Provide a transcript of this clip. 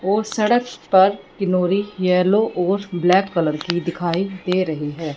और सड़क पर किनोरी येलो और ब्लैक कलर की दिखाई दे रही है।